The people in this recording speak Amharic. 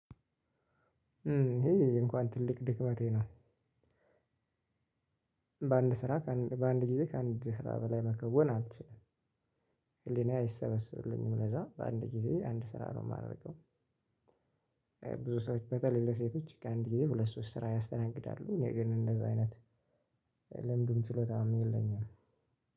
ይሄ እንኳን ትልቅ ድክመቴ ነው። በአንድ ስራ በአንድ ጊዜ ከአንድ ስራ በላይ መከወን አልችልም ህሊናዬ አይሰበስብልኝም ለዛ በአንድ ጊዜ አንድ ስራ ነው የማደርገው ብዙ ሰዎች በጣም ለሴቶች ከአንድ ጊዜ ሁለት ሶስት ስራ ያስተናግዳሉ እኔ ግን እንደዛ አይነት ልምዱም ችሎታም የለኝም።